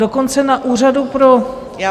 Dokonce na úřadu pro -